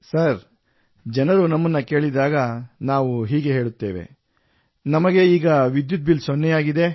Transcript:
sir ಜನರು ನಮ್ಮನ್ನು ಕೇಳಿದಾಗ ನಾವು ಹೀಗೆ ಹೇಳುತ್ತೇವೆ ನಮಗೆ ಈಗ ವಿದ್ಯುತ್ ಬಿಲ್ ಸೊನ್ನೆಯಾಗಿದೆ